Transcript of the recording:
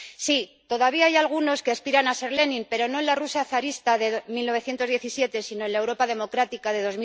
Sí, todavía hay algunos que aspiran a ser Lenin, pero no en la Rusia zarista de 1917 sino en la Europa democrática de